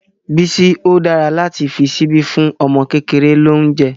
Bísí, ó dára láti fi ṣíbí fún ọmọ kékeré lóúnjẹ́.